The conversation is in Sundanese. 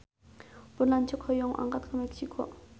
Pun lanceuk hoyong angkat ka Meksiko